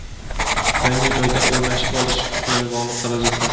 yangi joyda o‘rnashib olish bilan bog‘liq xarajatlar;.